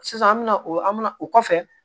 Sisan an mɛna o an mi na o kɔfɛ